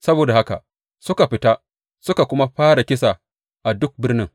Saboda haka suka fita suka kuma fara kisa a duk birnin.